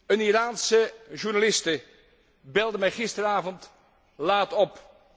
Een Iraanse journaliste belde mij gisterenavond laat op.